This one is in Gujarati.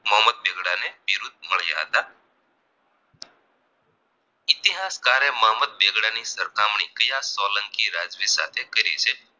ઇતિહાસકારે મોહમ્મદ બેગડાની સરખામણી કયા સોલંકી રાજવી સાથે કરી છે